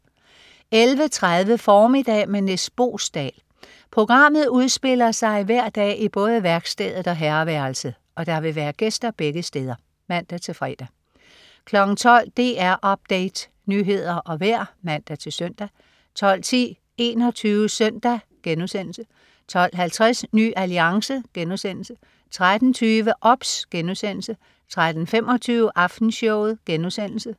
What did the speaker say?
11.30 Formiddag med Nis Boesdal. Programmet udspiller sig hver dag i både værkstedet og herreværelset, og der vil være gæster begge steder (man-fre) 12.00 DR Update. Nyheder og vejr (man-søn) 12.10 21 SØNDAG* 12.50 Ny Alliance* 13.20 OBS* 13.25 Aftenshowet*